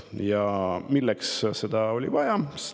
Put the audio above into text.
Ja milleks seda vaja oli?